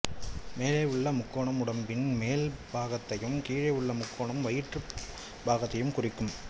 மேலே உள்ள முக்கோணம் உடம்பின் மேல் பாகத்தையும் கீழே உள்ள முக்கோணம் வயிற்று பாகத்தையும் குறிக்கும்